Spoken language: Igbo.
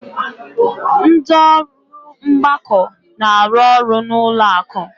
Ndị ọrụ mgbakọ na-arụ ọrụ n'ụlọ akụ.